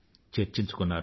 చర్చించుకున్నారు